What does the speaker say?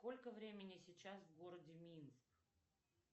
сколько времени сейчас в городе минск